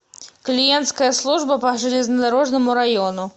клиентская служба по железнодорожному району